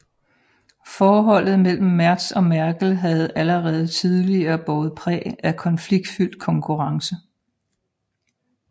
Forholdet mellem Merz og Merkel havde allerede tidligere båret præg af konfliktfyldt konkurrence